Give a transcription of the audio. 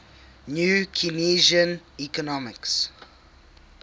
new keynesian economics